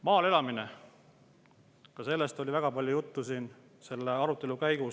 Maal elamine – ka sellest oli väga palju juttu selle arutelu käigus.